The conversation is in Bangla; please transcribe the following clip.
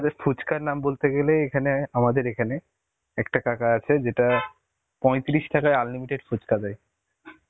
আমাদের ফুচকার নাম বলতে গেলে এখানে আমাদের এখানে একটা কাকা আছে যেটা পয়ত্রিশ টাকায় unlimited ফুচকা দেয়.